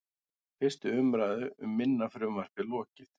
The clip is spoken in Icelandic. Fyrstu umræðu um minna frumvarpið lokið